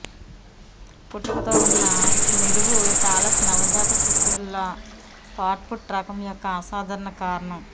పుట్టుకతో ఉన్న నిలువు టాలస్ నవజాత శిశువులలో ఫ్లాట్ఫుట్ రకం యొక్క అసాధారణ కారణం